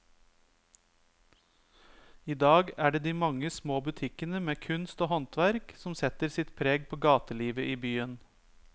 I dag er det de mange små butikkene med kunst og håndverk som setter sitt preg på gatelivet i byen.